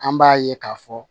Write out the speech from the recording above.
An b'a ye k'a fɔ